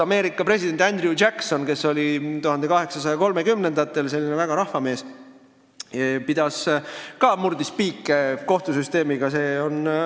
Ameerika president Andrew Jackson, kes oli 1830-ndatel selline suur rahvamees, murdis ka kohtusüsteemiga piike.